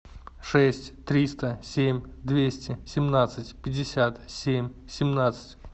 шесть триста семь двести семнадцать пятьдесят семь семнадцать